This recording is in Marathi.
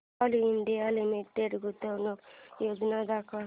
कोल इंडिया लिमिटेड गुंतवणूक योजना दाखव